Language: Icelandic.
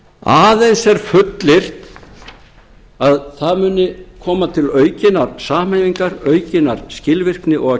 aðeins er fullyrt að það muni koma til aukinnar samhæfingar aukinnar skilvirkni og að